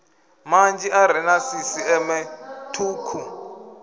manzhi are na sisiṱeme thukhu